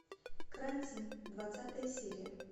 карантин двадцатая серия